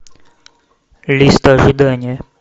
лист ожидания